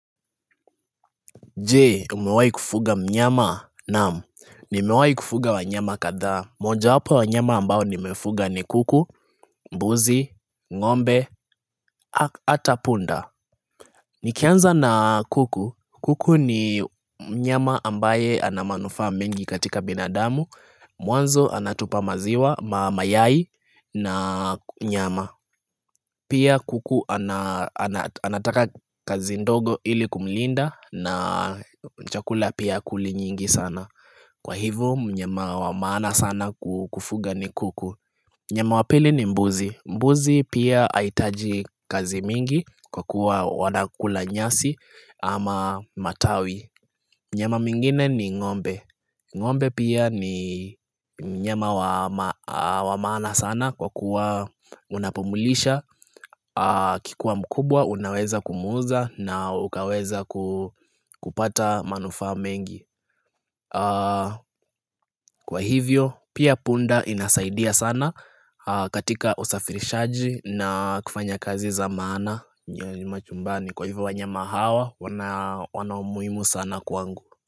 Je, umewai kufuga mnyama? Naam. Nimewai kufuga wanyama kadhaa. Mojawapo ya wanyama ambao nimefuga ni kuku, mbuzi, ng'ombe, hata punda. Nikianza na kuku. Kuku ni mnyama ambaye ana manufaa mengi katika binadamu. Mwanzo anatupa maziwa, mayai na nyama. Pia kuku anataka kazi ndogo ili kumlinda na chakula pia hakuli nyingi sana. Kwa hivyo mnyama wa maana sana kufuga ni kuku. Mnyama wa pili ni mbuzi, mbuzi pia hahitaji kazi mingi kwa kuwa wanakula nyasi ama matawi Mnyama mwingine ni ng'ombe, ng'ombe pia ni mnyama wa maana sana kwa kuwa unapomlisha Akikuwa mkubwa unaweza kumuuza na ukaweza kupata manufa mengi Kwa hivyo pia punda inasaidia sana katika usafirishaji na kufanya kazi za maana. Kwa hivyo wa nyama hawa wana umuhimu sana kwangu.